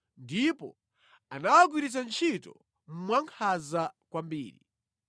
ndipo anawagwiritsa ntchito mwankhanza kwambiri.